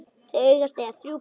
Þau segjast eiga þrjú börn.